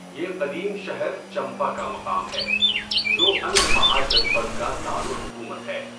یہ قدیم شہر چمپا کا مقام ہے، جو انگ مہاجنپد کا دار الحکومت ہے۔